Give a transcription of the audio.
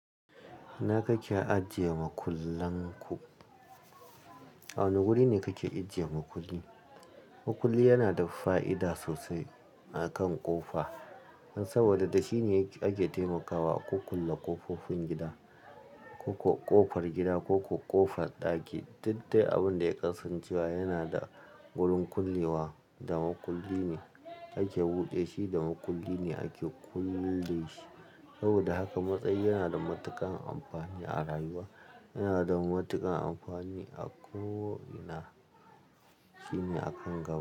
Ina kake ajiye makullan ku? A wane guri ne kake ajiye makulli? Makulli yana da fa'ida sosai akan ƙofa, saboda da shi ne ake taimakawa a kulle ƙofofin gida, ko ƙofar gida ko ƙofar ɗaki. Dattai abin da ya kasancewa yana da wurin kullewa da makulli ne ake buɗe shi da makulli ne ake kulle shi. Saboda haka matsayi yana da matuƙan amfani a rayuwa. Yana da matuƙan amfani a ko ina. Shi ne a kanga.